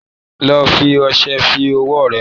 Lọ fi ọṣẹ fọ ọwọ́ rẹ!